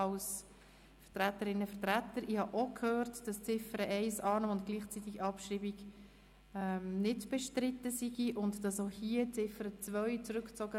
Ich habe gehört, bei der Ziffer 1 sei die Annahme bei gleichzeitiger Abschreibung nicht bestritten und die Ziffer 2 werde zurückgezogen.